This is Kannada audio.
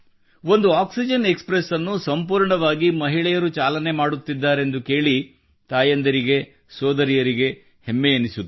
ಒಂದು ಆಕ್ಸಿಜನ್ ಎಕ್ಸ್ಪ್ರೆಸ್ ಅನ್ನು ಸಂಪೂರ್ಣವಾಗಿ ಮಹಿಳೆಯರು ಚಾಲನೆ ಮಾಡುತ್ತಿದ್ದಾರೆಂದು ಕೇಳಿ ತಾಯಂದಿರಿಗೆ ಸೋದರಿಯರಿಗೆ ಹೆಮ್ಮೆ ಎನಿಸುತ್ತದೆ